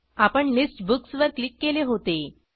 आपण list books वर click केले होते